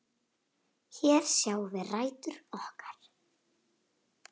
Hér sjáum við rætur okkar.